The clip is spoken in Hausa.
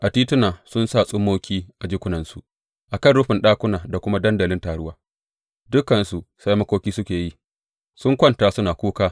A tituna sun sa tsummoki a jikunansu; a kan rufin ɗakuna da kuma dandalin taruwa dukansu sai makoki suke yi, sun kwanta suna kuka.